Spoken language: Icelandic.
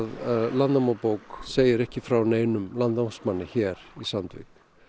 Landanámabók segir ekki frá neinum landnámsmanni hér í Sandvík